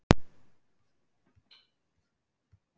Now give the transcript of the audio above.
Hún hafði hlotið að verða þess vís hversu ákaflega hann elskaði hana